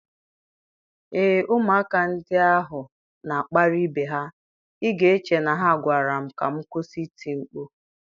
Ee, ụmụaka ndị ahụ na-akparị ibe ha, ị ga-eche na ha gwara m ka m kwụsị iti mkpu.